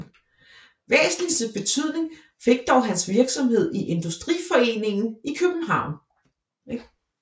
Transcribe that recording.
Væsentligst betydning fik dog hans virksomhed i Industriforeningen i København